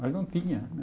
Mas não tinha